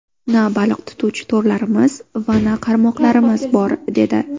Na baliq tutuvchi to‘rlarimiz va na qarmoqlarimiz bor”, dedi.